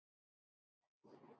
Þinn bróðir Þór.